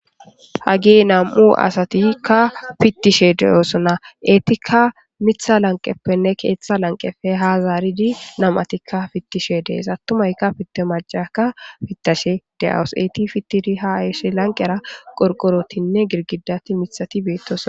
hage nam7u asatikka pittishe de7osonna eetikka mitha lanqeppenne keeththa lanqepe ha zaaridi nam7atikka fittishe dees attumayka fitte macaka pittashe de7awus eeti fittiri ha eehisshe lanqera qorqorotinne girgidati mithati beettoso